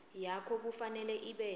yakho kufanele ibe